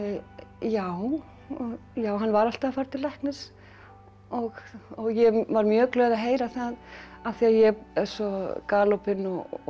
já já hann var alltaf að fara til læknis og ég var mjög glöð að heyra það af því ég er svo galopin og